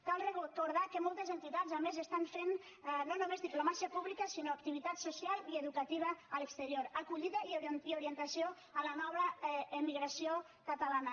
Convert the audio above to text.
cal recordar que moltes entitats a més estan fent no només diplomàcia pública sinó activitat social i educativa a l’exterior acollida i orientació a la nova emigració catalana